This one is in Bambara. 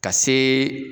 Ka se